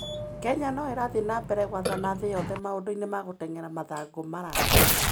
Kenya no ĩrathiĩ na mbere gwathana thĩ yothe maũndũ-inĩ ma gũteng'era mathangũ maraya.